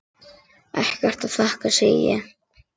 Ekkert að þakka, segi ég.